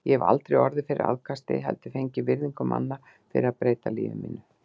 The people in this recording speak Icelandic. Ég hef aldrei orðið fyrir aðkasti, heldur fengið virðingu manna fyrir að breyta lífi mínu.